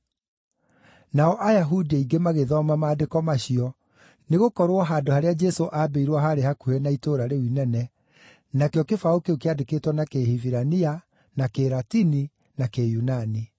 Nao Ayahudi aingĩ magĩthoma maandĩko macio, nĩgũkorwo handũ harĩa Jesũ aambĩirwo haarĩ hakuhĩ na itũũra rĩu inene, nakĩo kĩbaũ kĩu kĩandĩkĩtwo na Kĩhibirania, na Kĩlatini, na Kĩyunani.